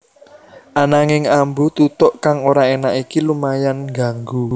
Ananging ambu tutuk kang ora énak iki lumayan ngganggu